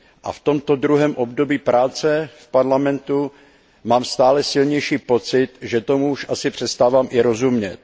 A v tomto druhém období práce v Parlamentu mám stále silnější pocit, že tomu už asi přestávám i rozumět.